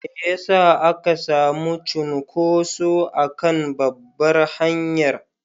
Me ya sa aka sami cunkuso a kan babbar hanyar?